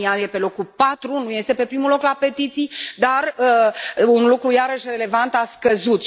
România e pe locul patru, nu este pe primul loc la petiții, dar un lucru iarăși relevant a scăzut.